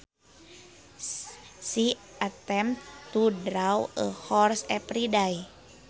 She attempts to draw a horse every day